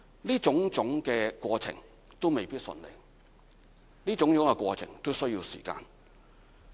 這種種過程都未必順利，都需要時間。